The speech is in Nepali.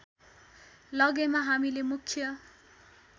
लगेमा हामीले मुख्य